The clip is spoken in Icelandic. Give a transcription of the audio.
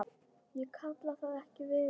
Ég kalla það ekki veiði.